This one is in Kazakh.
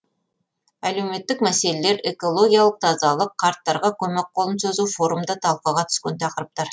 әлеуметтік мәселелер экологиялық тазалық қарттарға көмек қолын созу форумда талқыға түскен тақырыптар